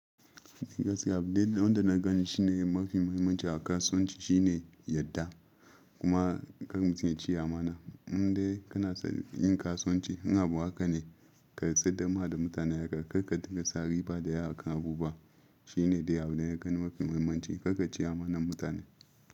Gaskiya abin da na gani shine mafi muhimmanci a kasuwanci shine yadda kuma kar mutum yaci amana. Inda kana son yin kasuwanci, in abu haka ne ka saidawa da mutane haka, kar ka dinga sa riba da yawa akan abubuwa. Shi ne dai abin da na gani mafi muhimmanci kar ka ci amanar mutane.